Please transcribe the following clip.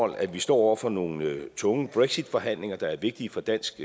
at vi står over for nogle tunge brexitforhandlinger der er vigtige for dansk